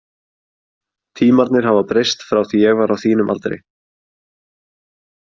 Tímarnir hafa breyst frá því ég var á þínum aldri.